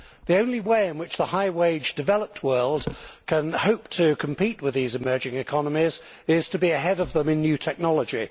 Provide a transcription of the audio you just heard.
The only way in which the high wage developed world can hope to compete with these emerging economies is to be ahead of them in new technology.